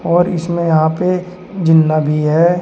और इसमें यहां पे जीना भी है।